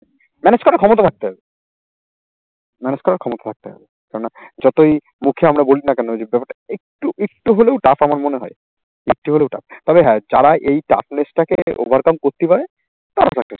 manage করার ক্ষমতা রাখতে হবে। manage করার ক্ষমতা থাকতে হবে। কেননা যতই মুখে আমরা বলি না কেন যে ব্যাপারটা একটু একটু হলেও tough আমার মনে হয়। হলেও tough তবে হ্যাঁ যারা এই toughless টা কে overcome করতে পারে, তারা